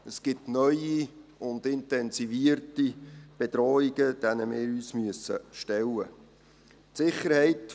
Es gibt neue und intensivierte Bedrohungen, denen wir uns stellen müssen.